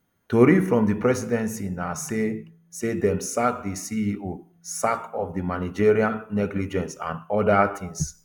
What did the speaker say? tori from di presidency na say say dem sack di ceo sake of managerial negligence and oda tins